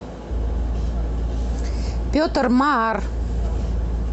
петр маар